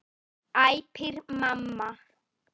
æpir mamma.